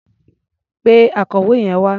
Pe akọ̀wé yẹn wá.